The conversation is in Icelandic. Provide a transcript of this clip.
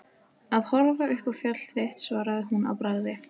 Að horfa upp á fall þitt svaraði hún að bragði.